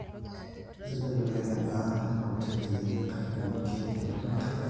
keisidai oleng endaa ena hoteli inyi, kaidim ake anoto enkae daa